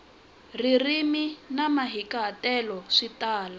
ririmi na mahikahatelo swi tala